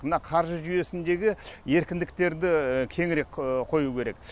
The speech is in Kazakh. мына қаржы жүйесіндегі еркіндіктерді кеңірек қою керек